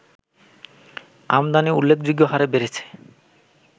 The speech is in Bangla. আমদানি উল্লেখযোগ্য হারে বেড়েছে